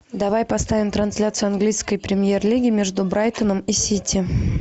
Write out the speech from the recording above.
давай поставим трансляцию английской премьер лиги между брайтоном и сити